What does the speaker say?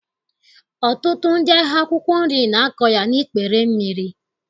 Ọtụtụ ndị ahịa akwụkwọ nri na-akọ ya n'ikpere mmiri